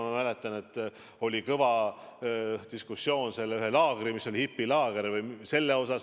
Ma mäletan, et oli kõva diskussioon ühe laagri, hipilaagri üle.